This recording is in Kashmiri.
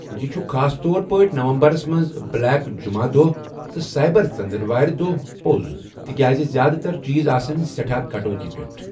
یہِ چھُ خاص طور پٲٹھۍ نومبرَس منٛز بلیک جُمہ دۄہ تہٕ سائبر ژٔنٛدٕروارِ دۄہ پوٚز تِکیازِ زیادٕ تر چیٖز آسَن سٮ۪ٹھاہ کَٹوتی پٮ۪ٹھ ۔